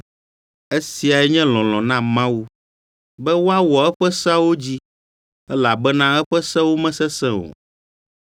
Esiae nye lɔlɔ̃ na Mawu: be woawɔ eƒe seawo dzi, elabena eƒe sewo mesesẽ o.